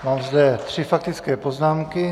Mám zde tři faktické poznámky.